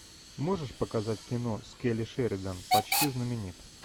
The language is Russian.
можешь показать кино с келли шеридан почти знаменит